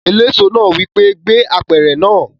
Eléso náà wí pé "gbé apẹ̀rẹ̀ náà!"